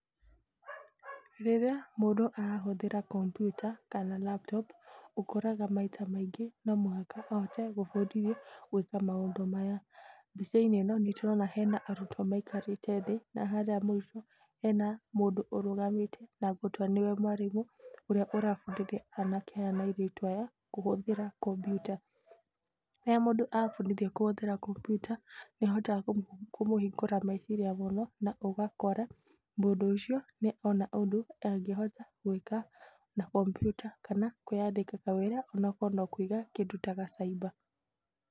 Rĩrĩa mũndũ arahũthĩra kampyuta, kana laptop, ũkoraga maita maingĩ no mũhaka ebundithio gũĩka maũndũ maya. Mbaica-inĩ ĩno, hena arutwo maikarĩte naharĩa mũico na hena mũndũ ũrũgamĩte na ngũtua nĩwe mwarimũ, ũrĩa ũrabundithia anake aya na airitu aya, kũhũthĩra kampyuta. Rĩrĩa mũndũ abundithio kũhũthĩra kampyuta, nĩ ĩmũhingũraga meciria mũno na ũgakora mũndũ ũcio nĩ ona ũndũ angĩhota gwĩka na kampyuta kana kwĩyandĩka kawĩra, onakorwo no kũiga kĩndũ ta ga cyber .